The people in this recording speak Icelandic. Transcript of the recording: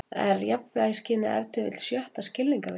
Er jafnvægisskynið ef til vill sjötta skilningarvitið?